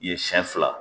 Ye siɲɛ fila